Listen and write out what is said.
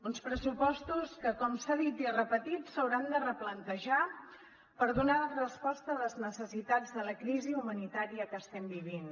uns pressupostos que com s’ha dit i repetit s’hauran de replantejar per donar resposta a les necessitats de la crisi humanitària que estem vivint